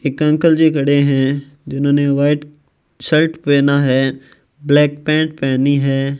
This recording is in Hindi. एक अंकल जी खड़े हैं जिन्होंने व्हाइट शर्ट पहना है ब्लैक पैंट पहनी है।